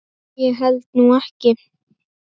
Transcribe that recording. Ég held nú ekki.